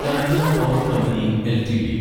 Tata Power Company LTD